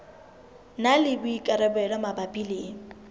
na le boikarabelo mabapi le